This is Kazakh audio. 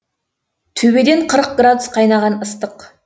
төбеден қырық градус қайнаған ыстық